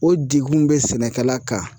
O degun bɛ sɛnɛkɛla kan.